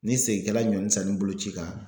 Ni segin kɛra ɲɔni sanni boloci kan